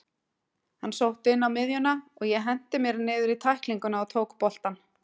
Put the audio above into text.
Hann sótti inn á miðjuna og ég henti mér niður í tæklingu og tók boltann.